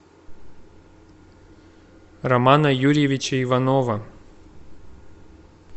романа юрьевича иванова